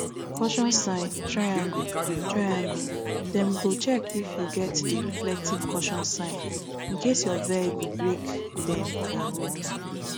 caution sign [triangle] [triangle] dem go check if you get di reflective caution sign incase your vehicle break dem for road